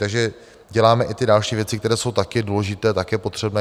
Takže děláme i ty další věci, které jsou taky důležité, taky potřebné.